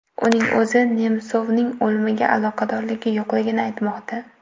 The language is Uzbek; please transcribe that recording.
Uning o‘zi Nemsovning o‘limiga aloqadorligi yo‘qligini aytmoqda.